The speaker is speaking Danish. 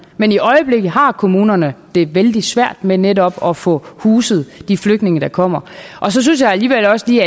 men i øjeblikket har kommunerne det vældig svært med netop at få huset de flygtninge der kommer så synes jeg alligevel også lige